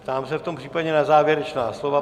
Ptám se v tom případě na závěrečná slova.